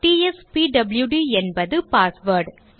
டிஎஸ்பியூடி என்பது பாஸ்வேர்ட்